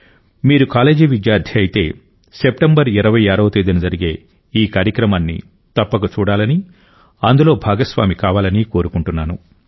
మీరు కాలేజీ విద్యార్థి అయితే సెప్టెంబర్ 26వ తేదీన జరిగే ఈ కార్యక్రమాన్ని తప్పక చూడాలని అందులో భాగస్వామి కావాలని కోరుకుంటున్నాను